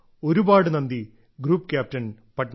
ഒരുപാട് നന്ദി group captain Patnaik